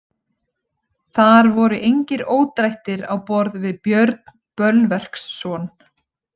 Þar voru engir ódrættir á borð við Björn Bölverksson.